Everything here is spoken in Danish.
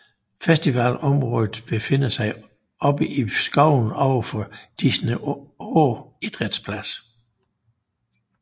Festivalområdet befinder sig oppe i skoven overfor Disenå Idrætsplads